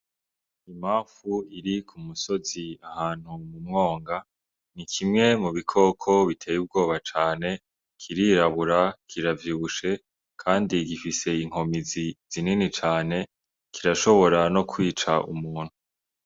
Imafu iri ku musozi ahantu mu mwonga ,ni kimwe mu bikoko biteye ubwoba cane. Kirirabura, kiravyibushe kandi gifise inkomezi zinini cane kirashobora no kwica umuntu.